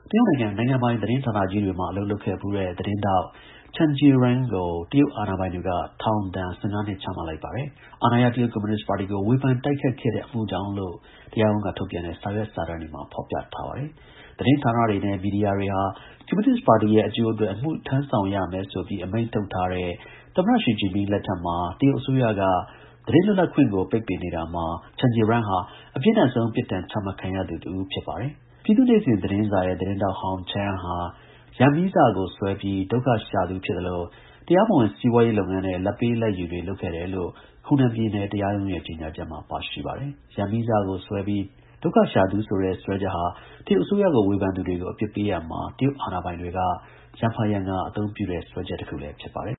တရုတ်နိုင်ငံ နိုင်ငံပိုင် သတင်းဌာနကြီးတွေမှာ အလုပ်လုပ်ခဲ့ဖူးတဲ့ သတင်းထောက် Chen Jieren ကို တရုတ် အာဏာပိုင်တွေက ထောင် ဒဏ် ၁၅ နှစ်ချမှတ်လိုက်ပါတယ်။ အာဏာရ တရုတ် ကွန်မြူနစ်ပါတီကို တိုက်ခိုက်ခဲ့တဲ့ အမှုကြောင့်လို့ တရားရုံးက ထုတ်ပြန်တဲ့ စာရွက် စာတမ်းတွေမှာ ဖော်ပြထားပါတယ်။ သတင်းဌာနတွေနဲ့ မီဒီယာတွေဟာ ကွန်မြူနစ်ပါတီရဲ့ အကျိုးအတွက် အမှုထမ်းဆောင်ရမယ်ဆိုပြီး အမိန့် ထုတ်ထားတဲ့ သမ္မတ ရှီဂျင်ပင်း လက်ထက်မှာ တရုတ်အစိုးရက သတင်းလွတ်လပ်ခွင့်ကို ပိတ်ပင်နေတာမှာ Chen Jieren ဟာ အပြင်းထန်ဆုံး ပြစ်ဒဏ်ချမှတ် ခံရတဲ့ အထဲ ပါဝင်နေပါတယ်။ တရုတ်ကွန်မြူနစ်ပါတီ ဝါဒဖြန့် သတင်းစာတစ်စောင်ဖြစ်တဲ့ ပြည်သူ့နေ့စဉ် သတင်းစာရဲ့ သတင်းထောက်ဟောင်း Chen ဟာ ရန်မီးစ ကို ဆွဲပြီး ဒုက္ခရှာသူ ဖြစ်သလို တရားမဝင် စီးပွားရေးလုပ်ငန်းနဲ့ လာဘ်ပေးလာဘ်ယူတွေလုပ်ခဲ့တယ်လို့ ဟူနန်ပြည်နယ် တရားရုံးရဲ့ကြေညာ ချက်မှာ ပါရှိပါတယ်။ ရန်မီးစ ကို ဆွဲပြီး ဒုက္ခရှာသူဆိုတဲ့ စွဲချက်ဟာ တရုတ်အစိုးရကို ဝေဖန်သူတွေကို အပြစ်ပေးရာမှာ တရုတ် အာဏာပိုင်တွေ ရံဖန်ရံခါ အသုံးပြုတဲ့ စွဲချက်တစ်ခုလည်း ဖြစ်ပါတယ်။